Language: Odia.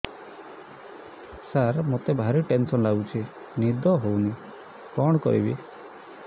ସାର ମତେ ଭାରି ଟେନ୍ସନ୍ ଲାଗୁଚି ନିଦ ହଉନି କଣ କରିବି